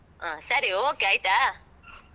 ಹ. ಸರಿ, okay okay ಆಯ್ತಾ?